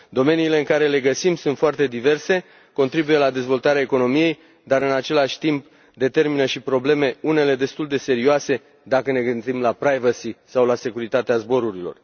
Domeniile în care le găsim sunt foarte diverse, contribuie la dezvoltarea economiei, dar, în același timp, determină și probleme, unele destul de serioase, dacă ne gândim la privacy sau la securitatea zborurilor.